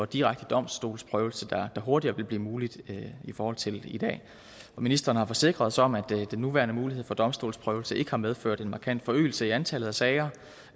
direkte domstolsprøvelse der hurtigere vil blive mulig i forhold til i dag ministeren har forsikret os om at den nuværende mulighed for domstolsprøvelse ikke har medført en markant forøgelse i antallet af sager